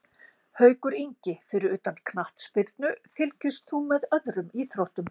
Haukur Ingi Fyrir utan knattspyrnu, fylgist þú með öðrum íþróttum?